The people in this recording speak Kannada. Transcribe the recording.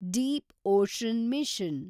Deep ocean mission